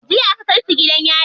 Jiya aka kai su gidan yari.